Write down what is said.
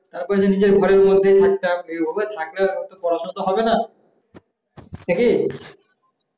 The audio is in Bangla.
তার পরে তো নিজের ঘরে থাকতাম room এ থাকলে তো শুধু পড়া সোনা হবে না নাকি